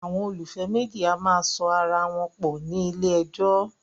Àwọn olólùfẹ́ méjì a máa so ara wọn pọ̀ ní ilé ẹjọ́